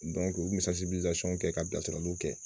u bɛ kɛ ka bilasiraliw kɛ